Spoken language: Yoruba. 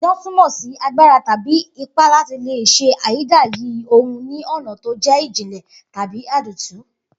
Idán túmò̩ sí agbára tàbí ipá láti lè s̩e ayídayì ohun ní ò̩nà tó jé̩ ìjìnlè̩ tàbí àdìtú